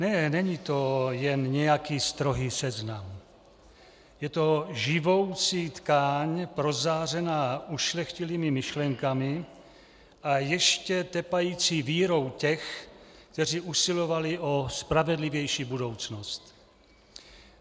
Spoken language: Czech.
Ne, není to jen nějaký strohý seznam, je to živoucí tkáň prozářená ušlechtilými myšlenkami a ještě tepající vírou těch, kteří usilovali o spravedlivější budoucnost.